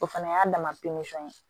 O fana y'a dama ye